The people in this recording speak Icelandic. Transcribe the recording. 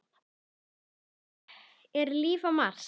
um þriðja dags dömum.